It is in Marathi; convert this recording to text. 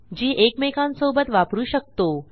जी एकमेकांसोबत वापरू शकतो